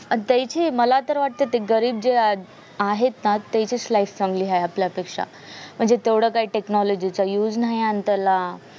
दयाची मला तर वाटतंय ते गरीब जे आहे ना त्याची life चांगली आपल्यापेक्ष्या म्हणजे तेवढे काय technology चा used नाही आणि त्याला